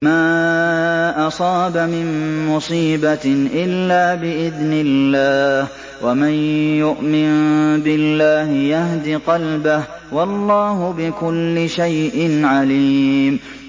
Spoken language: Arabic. مَا أَصَابَ مِن مُّصِيبَةٍ إِلَّا بِإِذْنِ اللَّهِ ۗ وَمَن يُؤْمِن بِاللَّهِ يَهْدِ قَلْبَهُ ۚ وَاللَّهُ بِكُلِّ شَيْءٍ عَلِيمٌ